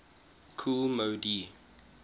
kool moe dee